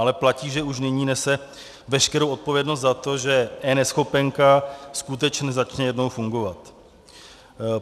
Ale platí, že už nyní nese veškerou odpovědnost za to, že eNeschopenka skutečně začne jednou fungovat.